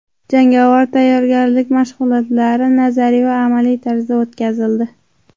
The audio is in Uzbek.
Jangovar tayyorgarlik mashg‘ulotlari nazariy va amaliy tarzda o‘tkazildi.